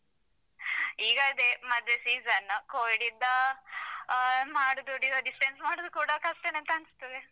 ಈಗ ಅದೇ ಮದ್ವೆ season covid ಯಿಂದ ಅಹ್ ಮಾಡುದು distance ಮಾಡುದು ಕೂಡ ಕಷ್ಟನೇ ಅಂತ ಅನ್ಸ್ತದೆ.